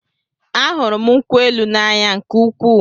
A hụrụ m nkwụ élù na-anya nke úkwuu